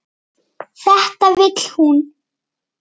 Þetta vill hún.